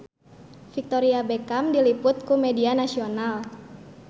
Victoria Beckham diliput ku media nasional